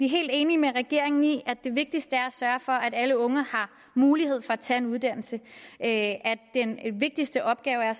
helt enige med regeringen i at det vigtigste er at sørge for at alle unge har mulighed for at tage en uddannelse at den vigtigste opgave er